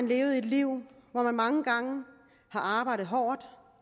levet et liv hvor man mange gange har arbejdet hårdt